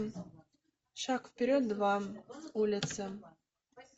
шаг вперед два улица